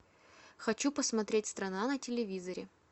хочу посмотреть страна на телевизоре